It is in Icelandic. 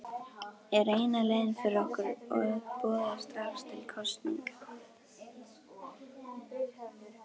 Er eina leiðin fyrir okkur að boða strax til kosninga?